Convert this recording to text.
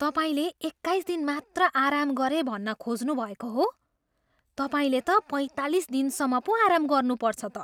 तपाईँले एक्काइस दिन मात्र आराम गरेँ भन्न खोज्नुभएको हो? तपाईँले त पैँतालिस दिनसम्म पो आराम गर्नुपर्छ त।